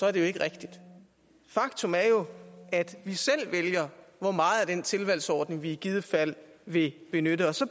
er det jo ikke rigtigt faktum er jo at vi selv vælger hvor meget af den tilvalgsordning vi i givet fald vil benytte og så